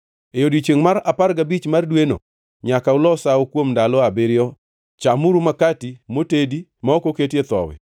E odiechiengʼ mar apar gabich mar dweno nyaka ulos sawo; kuom ndalo abiriyo chamuru makati motedi ma ok oketie thowi.